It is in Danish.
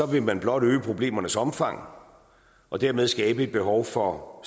vil man blot øge problemernes omfang og dermed skabe et behov for